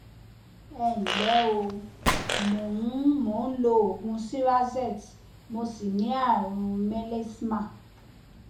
ẹ nlẹ o mo ń mo ń lo oògùn cerazette mo sì ní ààrùn mélasma